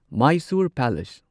Mysore palace